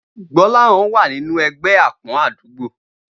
Gbó̩láhàn wà nínú e̩gbé̩ àpó̩n àdúgbò